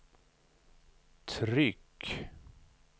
tryck